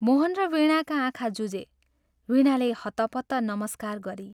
मोहन र वीणाका आँखा जुझे वीणाले हत्तपत्त नमस्कार गरी।।